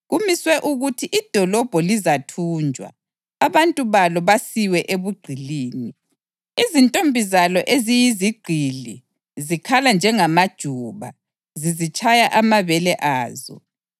Kumiswe ukuthi idolobho lizathunjwa, abantu balo basiwe ebugqilini. Izintombi zalo eziyizigqili zikhala njengamajuba zizitshaya amabele azo.